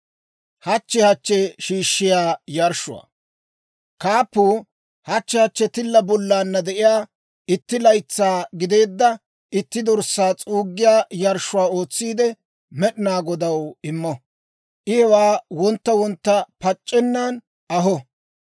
«‹ «Kaappuu hachchi hachchi tilla bollaanna de'iyaa itti laytsaa gideedda itti dorssaa s'uuggiyaa yarshshuwaa ootsiide, Med'inaa Godaw immo; I hewaa wontta wontta pac'c'ennan aho.